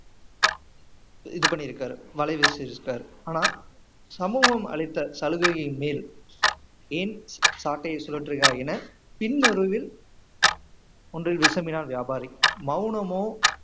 இது பண்ணியிருக்காரு வலை வீசி இருக்காரு ஆனா சமூகம் அளித்த சலுகையின் மேல் ஏன் சாட்டையை சுழற்றுகிறாய் என பின்னுருவில் ஒன்றை வியாபாரி மௌனமோ